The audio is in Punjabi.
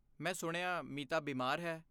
ਮੈਂ ਸੁਣਿਆ ਮੀਤਾ ਬਿਮਾਰ ਹੈ।